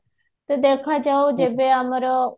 ତ ଦେଖାଯାଉ ଯେବେ ଆମର